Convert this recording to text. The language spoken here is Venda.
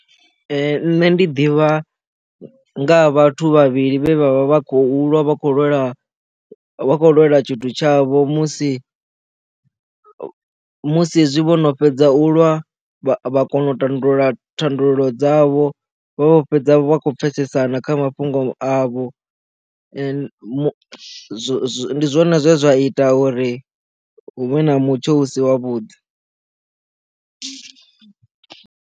Nṋe ndi ḓivha nga ha vhathu vhavhili vhe vha vha khou lwa vha khou lwela vha kho lwela tshithu tshavho musi musi hezwi vhono fhedza u lwa vha kone u tandulula thandululo dzavho vho fhedza vhakho pfesesana kha mafhungo avho ndi zwone zwe zwa ita uri huvhe na mutsho u si wavhuḓi.